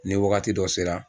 Ni wagati dɔ sera